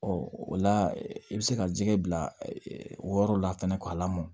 Ɔ o la i bɛ se ka jɛgɛ bila wɔɔrɔ la fɛnɛ k'a lamɔ